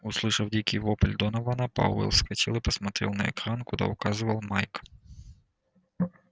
услышав дикий вопль донована пауэлл вскочил и посмотрел на экран куда указывал майк